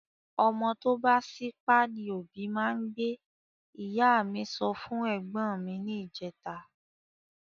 Ọmọ tó bá sípá ni òbí máa n gbé ,ìyá mí sọ fún ègbón mi ni ìjeta